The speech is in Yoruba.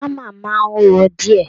Hammer máa ń wúwo díẹ̀